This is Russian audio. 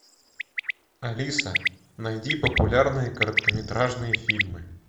алиса найди популярные короткометражные фильмы